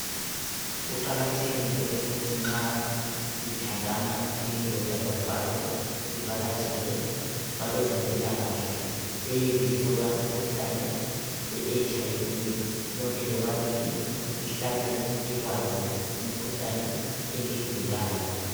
Kuqakathekile ukuthi nxa lithandana kuyindoda lomfazi livakatshele kwabezempilakahle beyelihlola umkhuhlane weHIV lonke lobabili lihlale likwazi imkhuhlane eliyigulayo